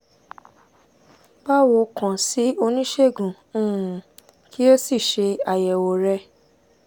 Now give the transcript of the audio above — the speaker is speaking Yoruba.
báwo kàn sí oníṣègùn um kí o sì ṣe àyẹ̀wò rẹ̀